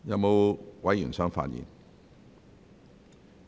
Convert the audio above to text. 是否有委員想發言？